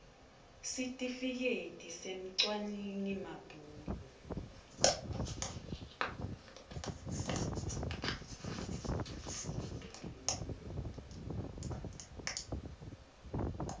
sitifiketi semcwaningi mabhuku